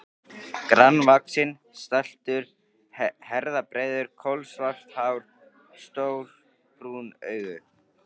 Grannvaxinn, stæltur, herðabreiður, kolsvart hár, stór brún augu.